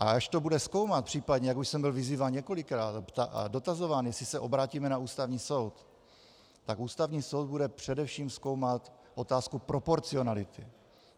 A až to bude zkoumat, případně, jak už jsem byl vyzýván několikrát a dotazován, jestli se obrátíme na Ústavní soud, tak Ústavní soud bude především zkoumat otázku proporcionality.